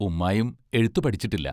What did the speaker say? ഉമ്മായും എഴുത്തു പഠിച്ചിട്ടില്ല.